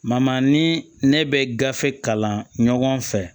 ni ne bɛ gafe kalan ɲɔgɔn fɛ